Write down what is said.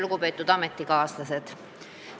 Lugupeetud ametikaaslased!